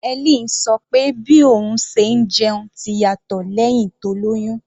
Helen sọ pé bí òun ṣe ń jẹun ti yàtọ̀ lẹ́hìn tó lóyún.